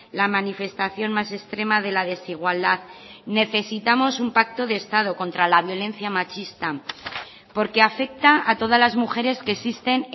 la manifestación más extrema de la desigualdad necesitamos un pacto de estado contra la violencia machista porque afecta a todas las mujeres que existen